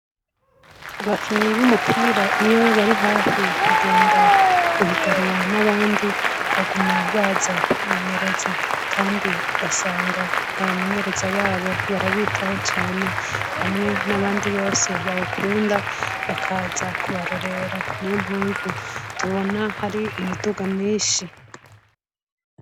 Abakinyi b'umupira iyo bari hafi kugenda guhiganwa n'abandi baguma baza kwimengereza, kandi ugasanga abamengereza babo barabitaho cane hamwe n'abandi bose bawukunda bakaza kubarorera ni yo mpamvu dubona hari imiduga minshi.